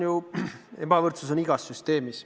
Noh, ebavõrdsust on igas süsteemis.